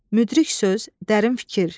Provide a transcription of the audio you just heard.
Müdrik söz, dərin fikir.